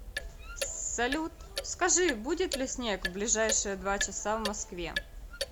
салют скажи будет ли снег в ближайшие два часа в москве